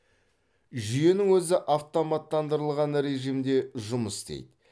жүйенің өзі автоматтандырылған режимде жұмыс істейді